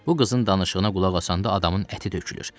Bu qızın danışığına qulaq asanda adamın əti tökülür.